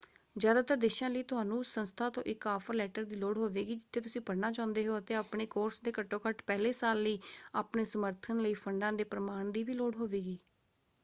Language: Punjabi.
ਜ਼ਿਆਦਾਤਰ ਦੇਸ਼ਾਂ ਲਈ ਤੁਹਾਨੂੰ ਉਸ ਸੰਸਥਾ ਤੋਂ ਇੱਕ ਆਫਰ ਲੈਟਰ ਦੀ ਲੋੜ ਹੋਵੇਗੀ ਜਿੱਥੇ ਤੁਸੀਂ ਪੜ੍ਹਨਾ ਚਾਹੁੰਦੇ ਹੋ ਅਤੇ ਆਪਣੇ ਕੋਰਸ ਦੇ ਘੱਟੋ ਘੱਟ ਪਹਿਲੇ ਸਾਲ ਲਈ ਆਪਣੇ ਸਮਰਥਨ ਲਈ ਫੰਡਾਂ ਦੇ ਪ੍ਰਮਾਣ ਦੀ ਵੀ ਲੋੜ ਹੋਵੇਗੀ।